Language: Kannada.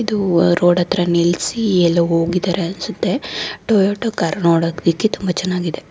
ಇದು ರೋಡ್ ಹತ್ರ ನಿಲ್ಸಿ ಎಲ್ಲೊ ಹೋಗಿದಾರೆ ಅನ್ಸುತ್ತೆ. ಟೊಯೋಟಾ ಕಾರು ನೋಡಕ್ ಬಿಕಿ ತುಂಬಾ ಚೆನ್ನಾಗಿದೆ.